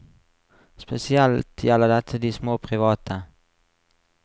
Spesielt gjelder dette de små private.